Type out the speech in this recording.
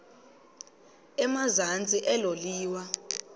emazantsi elo liwa